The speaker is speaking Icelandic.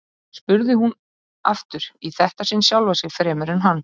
spurði hún aftur, í þetta sinn sjálfa sig fremur en hann.